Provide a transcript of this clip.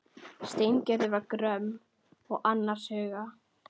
Steingerður var gröm og annars hugar.